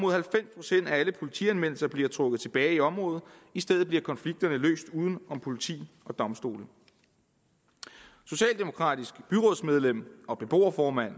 alle politianmeldelser bliver trukket tilbage i området og i stedet bliver konflikterne løst uden om politi og domstole socialdemokratisk byrådsmedlem og beboerformand